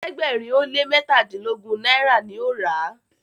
ẹ̀ẹ́dẹ̀gbẹ̀rin o lẹ mẹtadilogun náírà ní o rà.